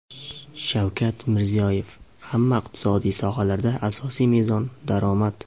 Shavkat Mirziyoyev: Hamma iqtisodiy sohalarda asosiy mezon – daromad.